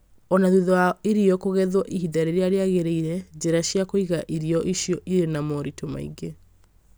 O na thutha wa irio kũgethwo ihinda rĩrĩa rĩagĩrĩire, njĩra cia kũiga irio icio irĩ na moritũ maingĩ